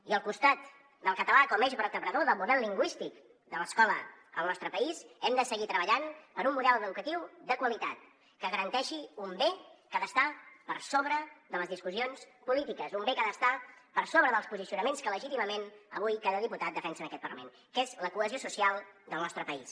i al costat del català com a eix vertebrador del model lingüístic de l’escola al nostre país hem de seguir treballant per un model educatiu de qualitat que garanteixi un bé que ha d’estar per sobre de les discussions polítiques un bé que ha d’estar per sobre dels posicionaments que legítimament avui cada diputat defensa en aquest parlament que és la cohesió social del nostre país